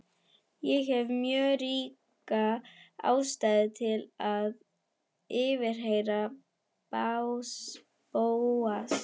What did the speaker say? Ég hef mjög ríka ástæðu til að yfirheyra Bóas.